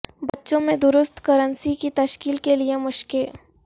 بچوں میں درست کرنسی کی تشکیل کے لئے مشقیں